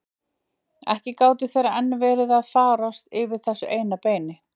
Ekki gátu þeir enn verið að fárast yfir þessu eina beini!